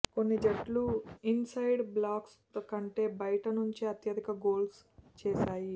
కొన్ని జట్లు ఇన్సైడ్ బాక్స్లో కంటే బయటనుంచే అత్యధిక గోల్స్ చేశాయి